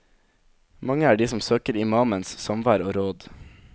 Mange er de som søker imamens samvær og råd.